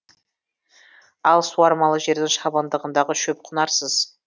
ал суармалы жердің шабындығындағы шөп құнарсыз